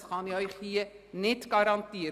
Das kann ich Ihnen hier nicht garantieren.